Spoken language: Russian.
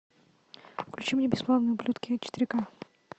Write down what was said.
включи мне бесславные ублюдки четыре ка